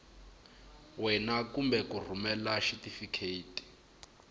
wena kumbe ku rhumela xitifiketi